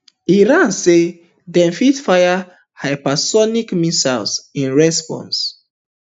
iran say dem fit fire hypersonic missiles in response